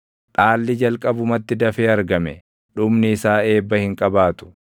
Dhaalli jalqabumatti dafee argame dhumni isaa eebba hin qabaatu.